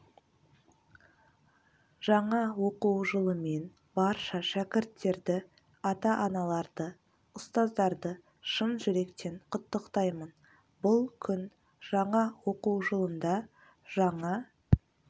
жаңа оқу жылымен барша шкірттерді ата-аналарды ұстаздарды шын жүректен құттықтаймын бұл күн жаңа оқу жылында жаңа